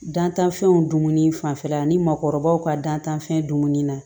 Dantanfɛnw dumuni fanfɛla ni maakɔrɔbaw ka dantanfɛn dumuni na